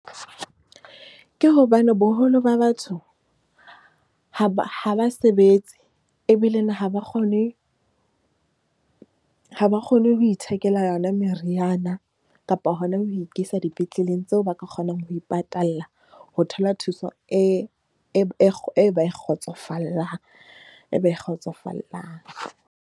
Ke hobane boholo ba batho ha ba sebetse ebile na ha ba kgone. Ha ba kgone ho ithekela yona meriana kapa hona ho ikisa dipetleleng tseo ba ka kgonang ho ipatalla. Ho thola thuso eo ba e kgotsofallang.